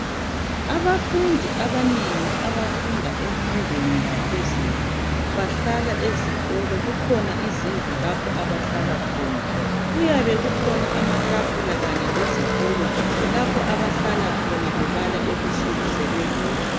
Abafundi abanengi abafunda emfundweni yaphezulu bahlala esikolo, kukhona izindlu lapho abahlala khona. Kuyabe kukhona amatafula kanye lezitulo lapho abahlala khona bebala ebusuku sebebodwa.